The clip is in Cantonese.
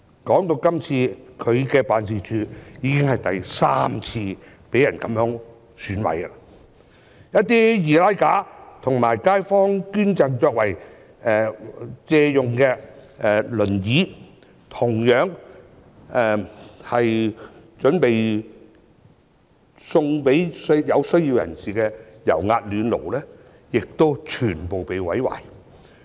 他的辦事處今次已經是第三次被損毀，一些易拉架及街坊捐贈作借用用途的輪椅、準備贈予有需要人士的油壓暖爐均全被毀壞。